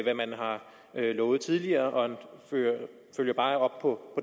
hvad man har lovet tidligere og det følger bare op på